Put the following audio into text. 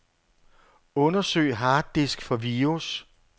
Undersøg harddisk for virus.